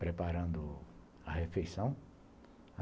preparando a refeição.